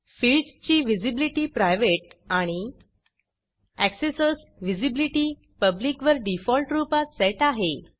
fields ची visibility private आणि Accessorsअक्सेसर्स विजीबलिटी publicपब्लिक वर डिफॉल्ट रूपात सेट आहे